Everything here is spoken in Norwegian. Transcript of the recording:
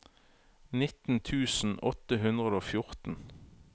nitten tusen åtte hundre og fjorten